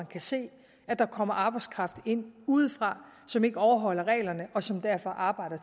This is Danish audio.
kan se at der kommer arbejdskraft ind udefra som ikke overholder reglerne og som derfor arbejder